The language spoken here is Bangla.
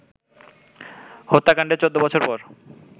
হত্যাকাণ্ডের ১৪ বছর পর